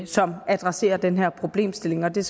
som adresserer den her problemstilling og det